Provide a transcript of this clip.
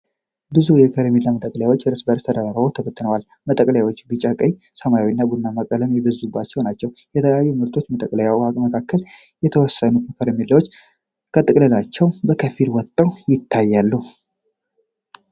ብዙ የከረሜላ መጠቅለያዎች እርስ በእርስ ተደራርበው ተበትነዋል። መጠቅለያዎቹ ቢጫ፣ ቀይ፣ ሰማያዊ እና ቡናማ ቀለሞች የበዙባቸው ናቸው። የተለያዩ ምርቶች መጠቅለያዎች መካከል፣ የተወሰኑት ከረሜላዎች ከጥቅልላቸው በከፊል ወጥተው ይታያሉ።